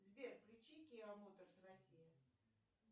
сбер включи киа моторс россия